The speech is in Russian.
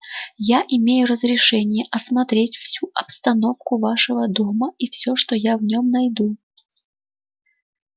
я имею разрешение осмотреть всю обстановку вашего дома и все что я в нем найду